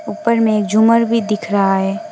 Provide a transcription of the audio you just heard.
ऊपर में झूमर भी दिख रहा है।